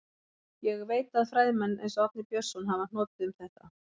Ég veit að fræðimenn, eins og Árni Björnsson, hafa hnotið um þetta.